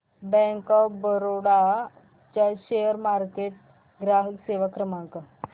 bank of Baroda चा share market ग्राहक सेवा क्रमांक